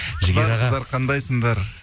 қандайсыңдар